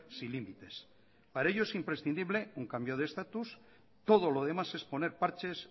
sin límites para ello es imprescindible un cambio de status todo lo demás es poner parches